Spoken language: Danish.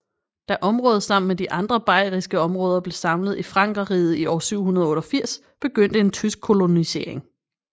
Da området sammen med de andre bayriske områder blev samlet i Frankerriget i år 788 begyndte en tysk kolonisering